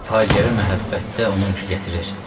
Faciəvi məhəbbətdə onunku gətirir.